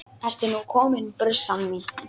Ertu nú komin, brussan mín?